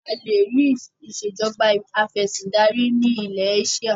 A lè rì Ìsèjọba afẹ̀sindarí ni ilẹ̀ Éṣíà